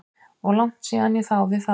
Og langt síðan ég þáði það.